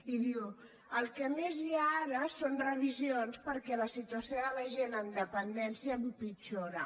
i diu el que més hi ha ara són revisions perquè la situació de la gent amb dependència empitjora